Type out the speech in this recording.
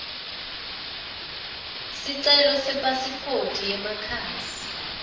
sicelo sepasiphoti yemakhasi